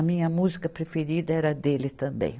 A minha música preferida era a dele também.